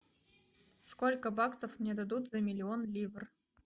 сколько баксов мне дадут за миллион ливр